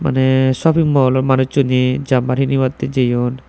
manei shoping malloh manujuney jamber hinibatteh jeyun.